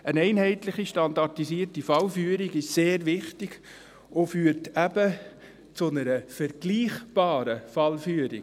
Eine einheitliche standardisierte Fallführung ist sehr wichtig und führt eben zu einer vergleichbaren Fallführung.